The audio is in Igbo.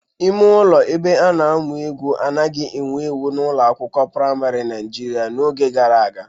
Ime ụlọ ebe a na-amụ egwu anaghị ewu ewu n'ụlọ akwụkwọ praịmarị Naijiria n'oge gara aga